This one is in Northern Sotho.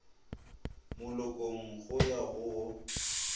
molokong go ya go wo